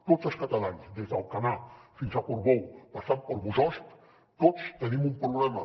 tots els catalans des d’alcanar fins a portbou passant per bossòst tots tenim un problema